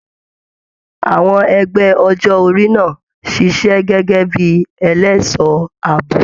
Àwọn ẹgbẹ ọjọ orí náà ṣiṣẹ gẹgẹ bíi ẹlẹṣọ ààbò.